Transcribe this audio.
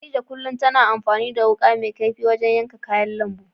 Khadija kullum tana amfani da wuƙa mai kaifi wajen yanka kayan lambu.